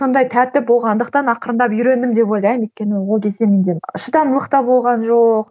сондай тәртіп болғандықтан ақырындап үйрендім деп ойлаймын өйткені ол кезде менде шыдамдылық та болған жоқ